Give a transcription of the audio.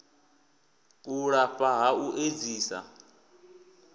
u lafha ha u edzisa